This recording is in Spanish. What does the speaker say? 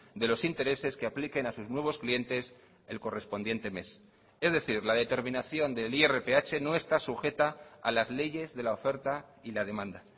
de los intereses que apliquen a sus nuevos clientes el correspondiente mes es decir la determinación del irph no está sujeta a las leyes de la oferta y la demanda